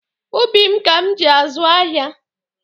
Ubi m ka m ji azụ ahịa.